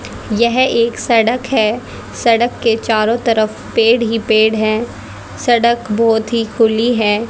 यह एक सड़क है सड़क के चारों तरफ पेड़ ही पेड़ है सड़क बहोत ही खुली हैं।